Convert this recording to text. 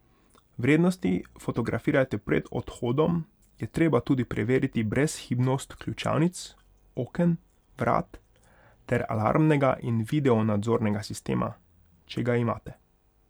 Vrednosti fotografirajte Pred odhodom je treba tudi preveriti brezhibnost ključavnic, oken, vrat ter alarmnega in videonadzornega sistema, če ga imate.